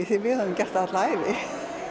því við höfðum gert það alla ævi